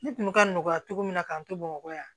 Ne kun bɛ ka nɔgɔya cogo min na k'an to bamakɔ yan